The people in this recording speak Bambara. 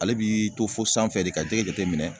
Ale b'i to fo sanfɛ de ka jɛgɛ jateminɛ